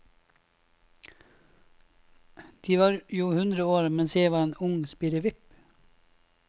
De var jo hundre år mens jeg var en ung spirrevipp.